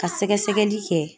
Ka sɛgɛsɛgɛli kɛ